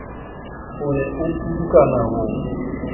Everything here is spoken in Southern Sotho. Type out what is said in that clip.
o ne a pudukane ho